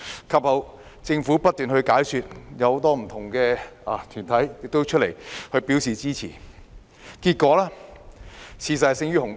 及後，政府不斷解說，很多不同的團體亦出來表示支持，結果，事實勝於雄辯。